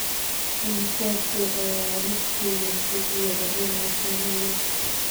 imisa shay ayaa liiskayga ku jira inaan sameeyo